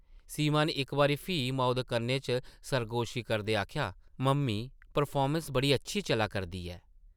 सीमा नै इक बारी फ्ही माऊ दे कन्नै च सरगोशी करदे आखेआ, ‘‘ मम्मी परफार्मैंस बड़ी अच्छी चला करदी ऐ ।’’